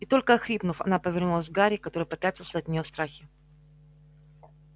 и только охрипнув она повернулась к гарри который попятился от неё в страхе